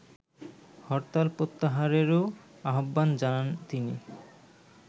হরতাল প্রত্যাহারেরও আহ্বান জানান তিনি